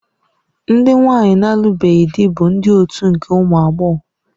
Ndị nwanyi na-alụbeghị di bụ ndị otu nke ụmụ agbọghọ.